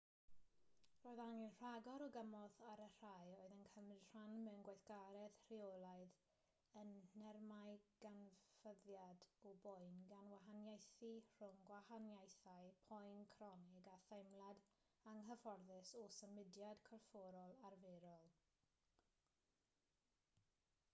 roedd angen rhagor o gymorth ar y rhai oedd yn cymryd rhan mewn gweithgaredd rheolaidd yn nhermau canfyddiad o boen gan wahaniaethu rhwng gwahaniaethau poen cronig a theimlad anghyfforddus o symudiad corfforol arferol